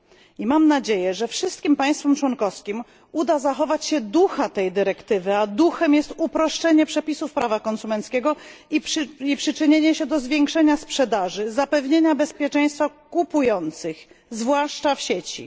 I mam nadzieję, że wszystkim państwom członkowskim uda się zachować ducha tej dyrektywy, a duchem jest uproszczenie przepisów prawa konsumenckiego i przyczynienie się do zwiększenia sprzedaży, zapewnienia bezpieczeństwa kupujących, zwłaszcza w sieci.